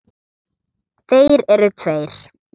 Þeir eru tveir.